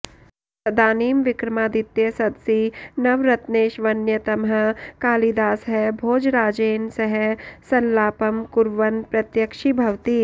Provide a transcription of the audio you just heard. तदानीं विक्रमादित्यसदसि नवरत्नेष्वन्यतमः कालिदासः भोजराजेन सह सल्लापं कुर्वन् प्रत्यक्षीभवति